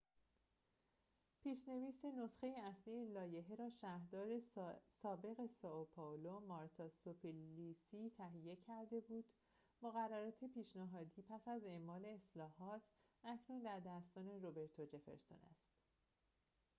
پیش‌نویس نسخه اصلی لایحه را شهردار سابق سائو پائولو مارتا سوپلیسی تهیه کرده بود مقررات پیشنهادی پس از اعمال اصلاحات اکنون در دستان روبرتو جفرسون است